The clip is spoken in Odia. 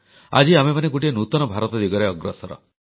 ଆଜି ଆମେମାନେ ଗୋଟିଏ ନୂତନ ଭାରତ ଦିଗରେ ଅଗ୍ରସର